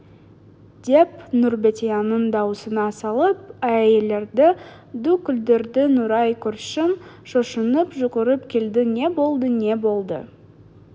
деп нұрбәтияның даусына салып әйелдерді ду күлдірді нұрай көршің шошынып жүгіріп келді не болды не болды